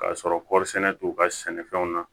K'a sɔrɔ kɔɔri sɛnɛ t'u ka sɛnɛfɛnw na